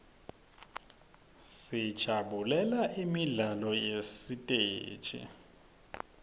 sijabulela imidlalo yasesiteji